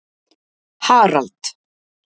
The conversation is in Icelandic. Harald